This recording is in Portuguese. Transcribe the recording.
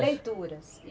Leituras.